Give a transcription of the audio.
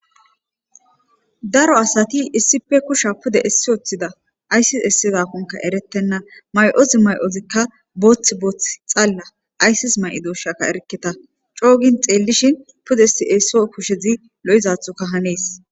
daro asati issipe kusha pude essi oththida ayssis essi zakonka erettenna may7os may7ozikka booth booth xalla ayssis may7i doshaka erketa coogin xeellishin pude si7eesso kushezi lo7izathoka hanees